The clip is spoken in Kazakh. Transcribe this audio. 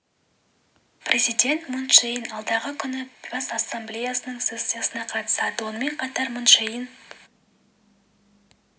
президент мун чже ин алдағы күні бас ассамблеясының сессиясына қатысады сонымен қатар мун чже ин